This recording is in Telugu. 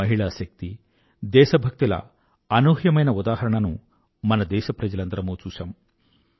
మహిళా శక్తి దేశ భక్తి ల అనూహ్యమైన ఉదాహరణను మన దేశప్రజలందరమూ చూశాము